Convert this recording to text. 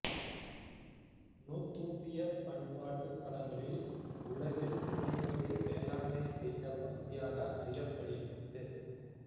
நூத்துப்பிய பண்பாட்டுக் களங்களில் உலகில் முதன்முதலில் வேளான்மை செய்த பகுதியாக அறியப்படுகிறது